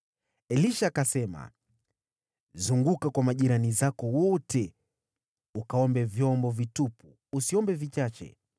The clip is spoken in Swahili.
Elisha akasema, “Zunguka kwa majirani zako wote ukaombe vyombo vitupu. Usiombe vichache.